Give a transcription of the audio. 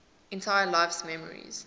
entire life's memories